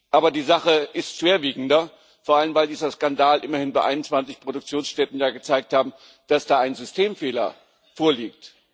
Aber die Sache ist schwerwiegender, vor allem, weil dieser Skandal bei immerhin 21 Produktionsstätten gezeigt hat, dass da ein Systemfehler vorliegt.